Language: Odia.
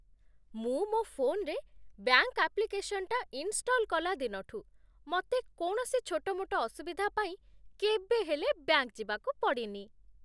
ମୁଁ ମୋ ଫୋନରେ ବ୍ୟାଙ୍କ୍ ଆପ୍ଲିକେସନ୍ଟା ଇନଷ୍ଟଲ୍ କଲା ଦିନଠୁ, ମତେ କୌଣସି ଛୋଟମୋଟ ଅସୁବିଧା ପାଇଁ କେବେ ହେଲେ ବ୍ୟାଙ୍କ୍ ଯିବାକୁ ପଡ଼ିନି ।